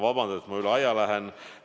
Vabandust, et ma üle aja lähen!